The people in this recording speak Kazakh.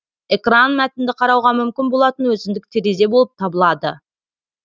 экран мәтінді қарауға мүмкін болатын өзіндік терезе болып табылады